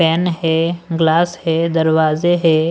Pen है glass है दरवाजे है।